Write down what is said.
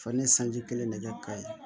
Fani sanji kelen ne kɛ ka ye